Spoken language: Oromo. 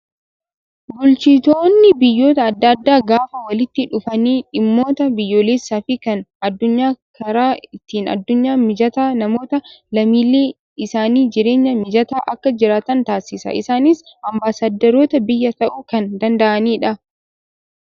Bulchitoonni biyyoota adda addaa gaafa walitti dhufanii dhimmoota biyyoolessaa fi kan addunyaa karaa ittiin addunyaa mijataa namoota lammiilee isaanii jireenya mijataa akka jiraatan taasisa. Isaanis ambaasaaddaroota biyyaa ta'uu kan danda'anidha.